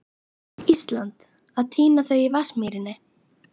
Íslands að tína þau í Vatnsmýrinni.